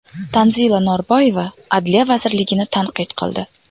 Tanzila Norboyeva Adliya vazirligini tanqid qildi.